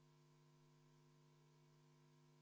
V a h e a e g Kalle Grünthal, kas on protseduuriline küsimus?